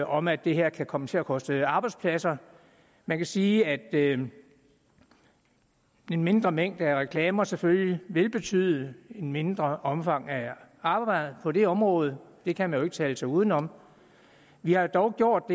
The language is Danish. om at det her kan komme til at koste arbejdspladser man kan sige at en mindre mængde af reklamer selvfølgelig vil betyde et mindre omfang arbejde på det område det kan man jo ikke tale sig uden om vi har dog gjort